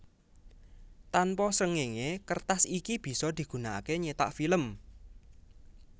Tanpa srengenge kertas iki bisa digunakake nyetak film